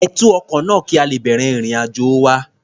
Ẹ tú ọkọ náà, kí a lè bẹ̀rẹ̀ ìrìn-àjò wa.